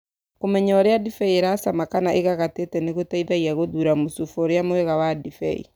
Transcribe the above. Kũmenya ũrĩa ndibei ĩracama, kana ĩgagatĩte nĩ gũteithagia guthura mũcuba ũrĩa mwega wa ndibei.